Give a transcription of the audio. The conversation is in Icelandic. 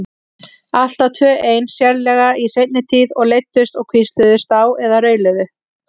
Alltaf tvö ein, sérlega í seinni tíð, og leiddust og hvísluðust á eða rauluðu.